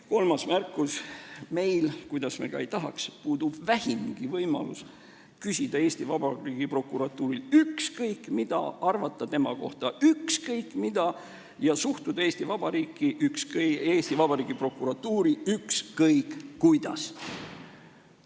Kolmas märkus: meil, kuidas me ka ei tahaks, puudub vähimgi võimalus küsida Eesti Vabariigi prokuratuurilt ükskõik mida, arvata tema kohta ükskõik mida ja suhtuda Eesti Vabariigi prokuratuuri ükskõik kuidas.